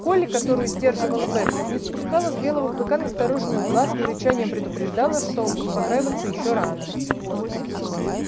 колли которую сдерживала бэт не спускала с белого клыка настороженных глаз и рычанием предупреждала что успокаиваться ещё рано